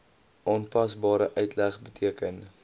aanpasbare uitleg beteken